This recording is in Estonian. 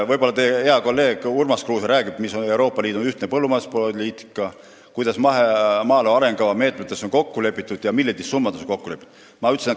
Võib-olla teie hea kolleeg Urmas Kruuse räägib teile, milline on Euroopa Liidu ühtne põllumajanduspoliitika ning millistes maaelu arengukava meetmetes ja summades on kokku lepitud.